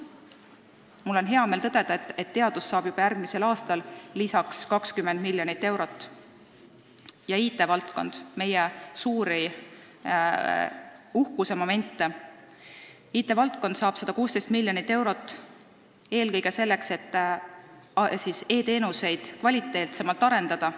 Mul on hea meel tõdeda, et teadus saab juba järgmisel aastal lisaks 20 miljonit eurot ja IT-valdkond, meie üks suuri uhkusi, saab 116 miljonit eurot eelkõige selleks, et kvaliteetsemaid e-teenuseid arendada.